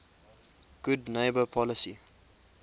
good neighbor policy